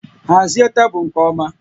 Hazie tebụl nke ọma